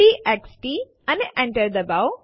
TXT અને Enter ડબાઓ